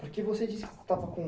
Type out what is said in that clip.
Porque você disse que estava com...